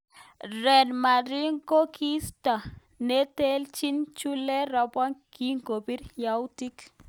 Real Madrid kokiisto neteleljin Julen Lopetegu kingobit yautik.